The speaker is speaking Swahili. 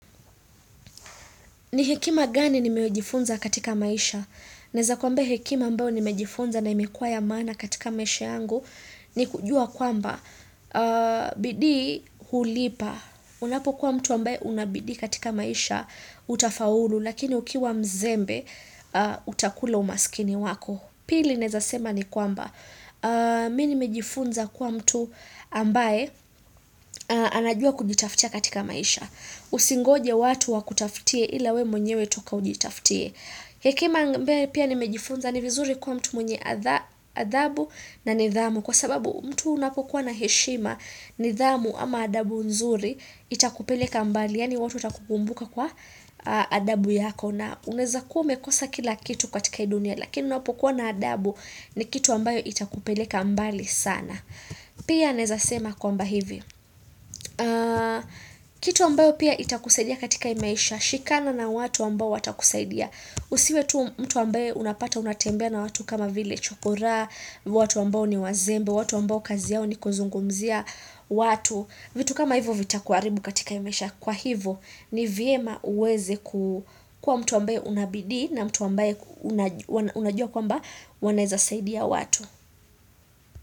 Ni hekima gani nimeyojifunza katika maisha? Naeza kuambia hekima ambayo nimejifunza na imekuwa ya maana katika maisha yangu ni kujua kwamba bidii hulipa. Unapokua mtu ambaye una bidii katika maisha utafaulu lakini ukiwa mzembe utakula umasikini wako. Pili naeza sema ni kwamba. Mimi nimejifunza kuwa mtu ambaye anajua kujitaftia katika maisha. Usingoje watu wakutaftie ila wewe mwenyewe toka ujitaftie hekima ambaye pia nimejifunza ni vizuri kuwa mtu mwenye adhabu na nidhamu kwa sababu mtu unapokuwa na heshima nidhamu ama adabu nzuri itakupeleka mbali yaani watu watakukumbuka kwa adabu yako na unaeza kuwa umekosa kila kitu katika hii dunia lakini unapokuwa na adabu ni kitu ambayo itakupeleka mbali sana pia naeza sema kwamba hivi kitu ambayo pia itakusaidia katika hii maisha Shikana na watu ambao watakusaidia usiwe tu mtu ambaye unapata unatembea na watu kama vile chokora watu ambao ni wazembe watu ambao kazi yao ni kuzungumzia watu vitu kama hivo vitakuharibu katika hii maisha Kwa hivo ni vyema ueze kuwa mtu ambaye una bidii na mtu ambaye unajua kwamba wanaezasaidia watu.